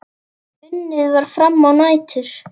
Unnið var fram á nætur.